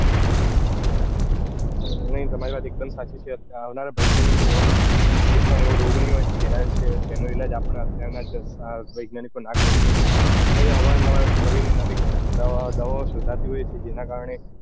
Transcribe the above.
હમ તમારી વાત એક દમ સાચી છે આવનારા ભવિષ્ય ની અંદર એવો લગભગ કોઈપણ રોગ નઈ હોય જેની વિશે જેનો ઈલાજ આપડા અત્યાર ના વૈજ્ઞાનિકો ના કરી શકે અત્યારે અવાર ને નવાર નવી ને નવી દવાઓ શોધતી હોય છે જેના કારણે